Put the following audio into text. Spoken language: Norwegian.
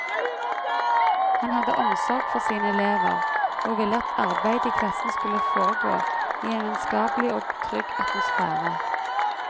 Han hadde omsorg for sine elever, og ville at arbeidet i klassen skulle foregå i en vennskapelig og trygg atmosfære.